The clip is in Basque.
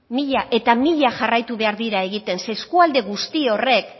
mila eta mila jarraitu behar dira egiten zeren eskualde guzti horrek